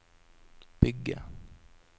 bygge